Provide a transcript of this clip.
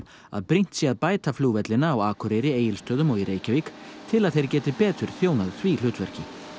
að brýnt sé að bæta flugvellina á Akureyri Egilsstöðum og í Reykjavík til að þeir geti betur þjónað því hlutverki